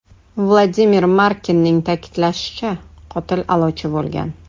Vladimir Markinning ta’kidlashicha, qotil a’lochi bo‘lgan.